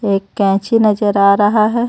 एक कैंची नजर आ रहा हे.